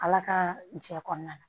Ala ka jɛ kɔnɔna la